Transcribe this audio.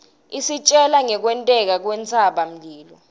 isitjela ngkwenteka kwentsaba mlilo